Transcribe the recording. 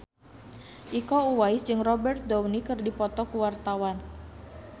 Iko Uwais jeung Robert Downey keur dipoto ku wartawan